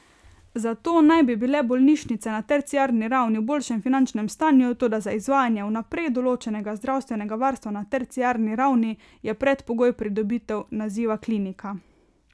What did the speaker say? Zato naj bi bile bolnišnice na terciarni ravni v boljšem finančnem stanju, toda za izvajanje vnaprej določenega zdravstvenega varstva na terciarni ravni je predpogoj pridobitev naziva klinika.